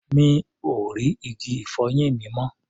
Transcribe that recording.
Mi ò rí igi-ìfọyín mi mọ́.